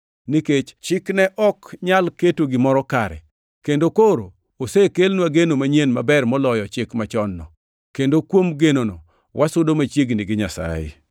(nikech chik ne ok nyal keto gimoro kare), kendo koro osekelnwa geno manyien maber moloyo chik machon-no, kendo kuom genono wasudo machiegni gi Nyasaye.